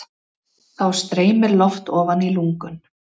Þá streymir loft ofan í lungun.